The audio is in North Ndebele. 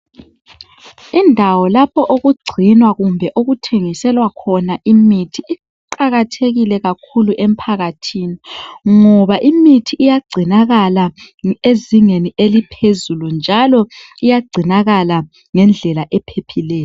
Indawo lapho okugcinwa kumbe okuthengiselwa khona imithi. Iqakathekile kakhulu emphakathini, ngoba imithi iyagcinakala ezingeni eliphezulu, njalo iyagcinakala, ngendlela ephephileyo.